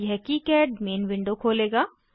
यह KiCad main window खोलेगा